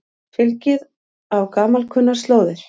Fylgið á gamalkunnar slóðir